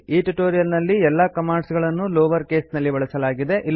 ಈ ಟ್ಯುಟೋರಿಯಲ್ ನಲ್ಲಿ ಎಲ್ಲಾ ಕಮಾಂಡ್ಸ್ ಗಳನ್ನೂ ಲೋವರ್ ಕೇಸ್ನಲ್ಲಿ ಬಳಸಲಾಗಿದೆ